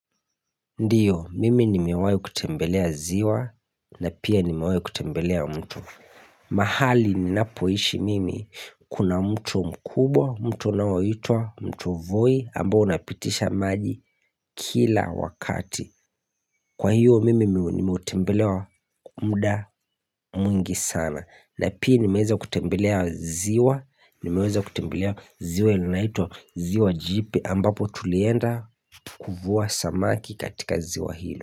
Ndiyo mimi nimewahi kutembelea ziwa na pia nimewahi kutembelea mto mahali ninapoishi mimi kuna mto mkubwa mtu unaoitwa mto voi ambao unapitisha maji kila wakati Kwa hiyo mimi nimeutembelea muda mwingi sana na pia nimeweza kutembelea ziwa nimeweza kutembelea ziwa linaloitwa ziwa jipe ambapo tulienda kuvua samaki katika ziwa hilo.